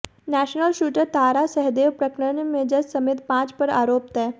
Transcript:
national shooter Tara Shahdeo प्रकरण में जज समेत पांच पर आरोप तय